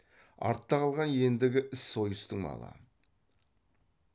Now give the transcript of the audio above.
артта қалған ендігі іс сойыстың малы